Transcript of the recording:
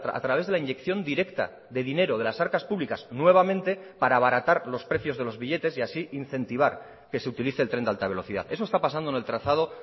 a través de la inyección directa de dinero de las arcas públicas nuevamente para abaratar los precios de los billetes y así incentivar que se utilice el tren de alta velocidad eso está pasando en el trazado